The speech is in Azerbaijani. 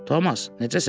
Tomas, necəsən?